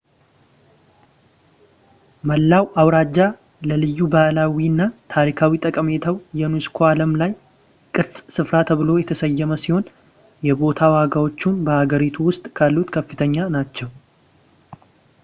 መላው አውራጃ ለልዩ ባህላዊ እና ታሪካዊ ጠቀሜታው የዩኔስኮ የዓለም ቅርስ ስፍራ ተብሎ የተሰየመ ሲሆን የቦታ ዋጋዎቹም በአገሪቱ ውስጥ ካሉት ከፍተኛ ናቸው